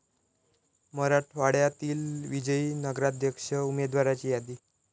मराठवाड्यातील विजयी नगराध्यक्ष उमेदवाराची यादी